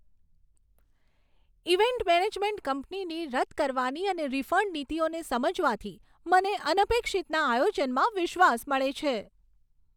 Event management કંપનીની રદ કરવાની અને રિફંડ નીતિઓને સમજવાથી મને અનપેક્ષિતના આયોજનમાં વિશ્વાસ મળે છે.